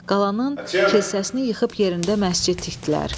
Qalanın kilsəsini yıxıb yerində məscid tikdilər.